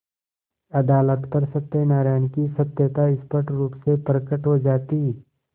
अदालत पर सत्यनारायण की सत्यता स्पष्ट रुप से प्रकट हो जाती